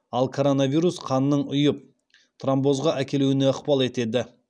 ал коронавирус қанның ұйып тромбозға әкелуіне ықпал етеді